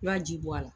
I b'a ji bɔ a la